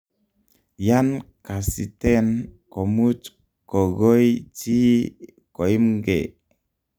yan kasiten komuch kogoi chi koimgee